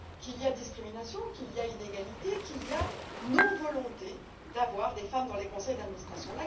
Qu'il y a discrimination, qu'il y a inégalité, qu'il y a non volonté d'avoir des femmes dans les conseils d'administration.